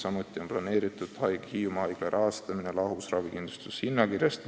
Samuti on planeeritud Hiiumaa haigla rahastamine lahus ravikindlustuse hinnakirjast.